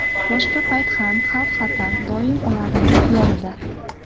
Boshqa payt ham xavf-xatar doim ularning yonida.